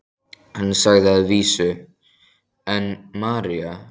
Hann sagði að vísu: en María?